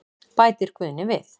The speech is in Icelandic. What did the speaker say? Bætir Guðni við.